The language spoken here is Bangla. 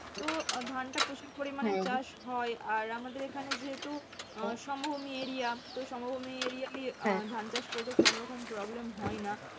তো ধানটা প্রচুর হয়। আর আমাদের এখানে যেহেতু সমভূমি area তো সমভূমি area ধান চাষ করলে কোনো রকম problem হয়না।